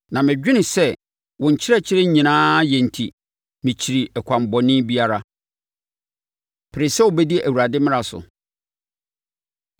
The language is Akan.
na medwene sɛ wo nkyerɛkyerɛ nyinaa yɛ enti mekyiri ɛkwan bɔne biara. Pere Sɛ Wobɛdi Awurade Mmara So